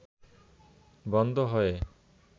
বন্ধ হয়ে